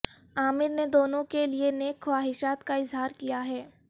عامر نے دونوں کے لیے نیک خواہشات کا اظہار کیا ہے